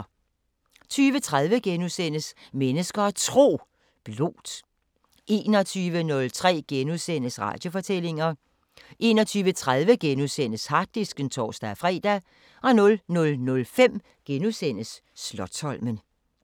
20:30: Mennesker og Tro: Blót * 21:03: Radiofortællinger * 21:30: Harddisken *(tor-fre) 00:05: Slotsholmen *